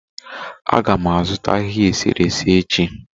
A ga m azụta ahịhịa eserese echi